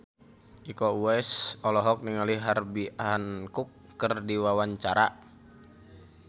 Iko Uwais olohok ningali Herbie Hancock keur diwawancara